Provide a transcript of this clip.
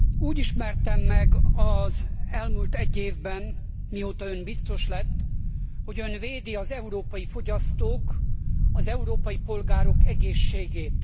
Úgy ismertem meg az elmúlt egy évben, mióta ön biztos lett, hogy ön védi az európai fogyasztók, az európai polgárok egészségét.